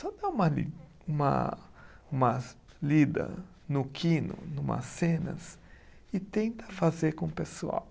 Só dá uma li, uma umas lida no quino, numas cenas, e tenta fazer com o pessoal.